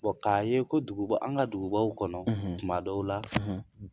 k'a ye ko duguba an ka dugubaw kɔnɔ tuma dɔw la